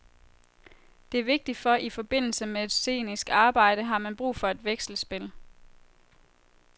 Det er vigtigt, for i forbindelse med et scenisk arbejde har man brug for et vekselspil.